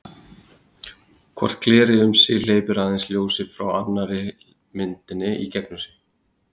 hvort glerið um sig hleypir aðeins ljósi frá annarri myndinni í gegnum sig